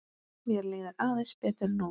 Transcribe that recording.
Mér líður aðeins betur núna.